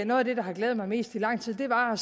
noget af det der har glædet mig mest i lang tid var